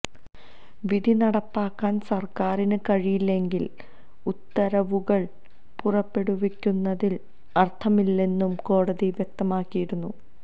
വിധി നടപ്പാക്കാന് സര്ക്കാരിന് കഴിയില്ലെങ്കില് ഉത്തരവുകള് പുറപ്പെടുവിക്കുന്നതില് അര്ഥമില്ലെന്നു കോടതി വ്യക്തമാക്കിയിരുന്നു